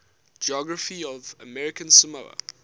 geography of american samoa